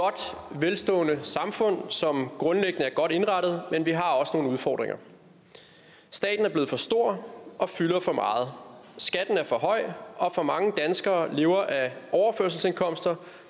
og velstående samfund som grundlæggende er godt indrettet men vi har også nogle udfordringer staten er blevet for stor og fylder for meget skatten er for høj og for mange danskere lever af overførselsindkomster